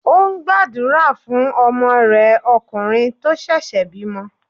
Ó ń gbàdúrà fún ọmọ rẹ̀ okùnrin tó ṣẹ̀ṣẹ̀ bímọ.